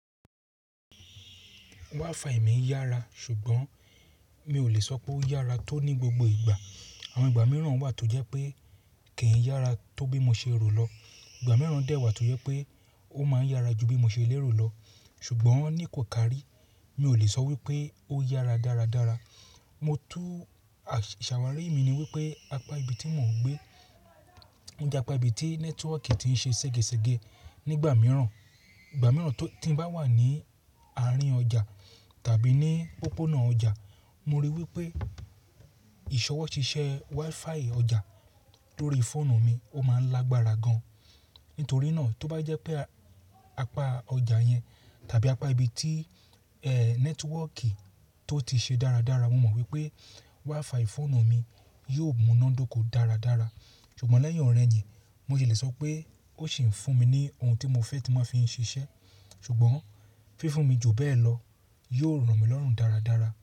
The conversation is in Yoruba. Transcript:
WiFi mi yára ṣùgbọ́n mi ò lè sọ pé ó yára tó ní gbogbo ìgbà. Àwọn ìgbà mìíràn wà tó jẹ́ pé kì í yára tó bí mo ṣe rò lọ. Ìgbà mìíràn dẹ́ wà tó jẹ́ pé ó máa ń yára ju bí mo ṣe lérò lọ. Ṣùgbọ́n ní kò kàrí, mi ò lè sọ wípé ó yára dáradára. Mo tún ṣàwárí mi ni wípé apá ibi tí mò ń gbé o jẹ́ apá ibi tí nẹ́tíwọ́ọ̀kì ti ń ṣe ségesège nígbà mìíràn. Ìgbà mìíràn to-- tí n bá wà ní àárín ọjà tàbí ní òpópónà ọjà, mo rí i wípé ìṣọwọ́ṣiṣẹ́ WiFi ọjà lórí fóònù mi ó máa ń lágbára gan. Nítorí náà, tó bá jẹ́ pé apá ọjà yẹn tàbí apá ibi tí ẹ nẹ́tíwọ́ọ̀kì tó ti ṣe dáradára, mo mọ̀ wípé WiFi fóònù mi yóò múná dóko dáradára. Ṣùgbọ́n lẹ́yìn ọ̀rẹ̀yìn, mo si lè sọ pé ó sì ń fún mi ní ohun tí mo fẹ́ tí mo máa fi ń ṣiṣẹ́. Ṣùgbọ́n fifún mi jù bẹ́ẹ̀ lọ yóò ro mí lọ́rùn dáradára.